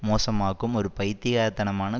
மோசமாக்கும் ஒரு பைத்தியக்காரத்தனமான